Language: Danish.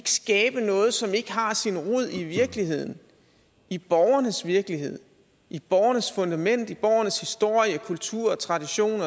skabe noget som ikke har sin rod i virkeligheden i borgernes virkelighed i borgernes fundament i borgernes historie kultur og tradition